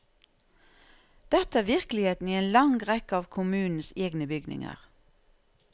Dette er virkeligheten i en lang rekke av kommunens egne bygninger.